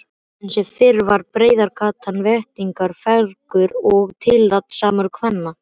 Enn sem fyrr var breiðgatan vettvangur fagurra og tilhaldssamra kvenna.